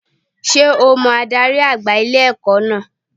Sé o mo adarí àgbà ilé-ẹ̀kọ́ náà